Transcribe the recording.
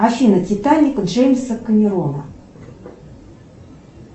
афина титаник джеймса кэмерона